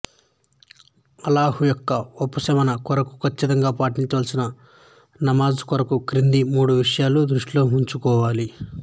అల్లాహ్ యొక్క ఉపాసన కొరకు ఖచ్చితంగా పాటించవలసిన నమాజ్ కొరకు క్రింది మూడు విషయాలు దృష్టిలో వుంచుకోవాలి